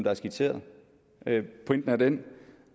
er skitseret pointen er den